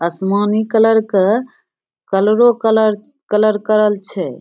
आसमानी कलर के कलरो कलर कलर करल छै।